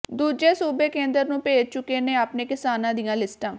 ਦੂਜੇ ਸੂਬੇ ਕੇਂਦਰ ਨੂੰ ਭੇਜ ਚੁੱਕੇ ਨੇ ਆਪਣੇ ਕਿਸਾਨਾਂ ਦੀਆਂ ਲਿਸਟਾਂ